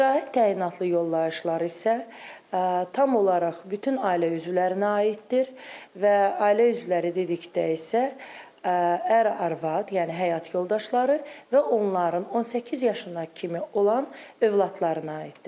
İstirahət təyinatlı yollayışlar isə tam olaraq bütün ailə üzvlərinə aiddir və ailə üzvləri dedikdə isə ər, arvad, yəni həyat yoldaşları və onların 18 yaşına kimi olan övladlarına aiddir.